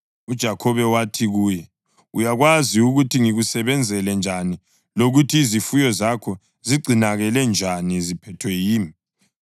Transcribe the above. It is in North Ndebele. UJakhobe wathi kuye, “Uyakwazi ukuthi ngikusebenzele njani lokuthi izifuyo zakho zigcinakale njani ziphethwe yimi.